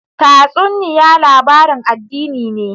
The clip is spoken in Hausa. Tatsuniya labarin addini ne?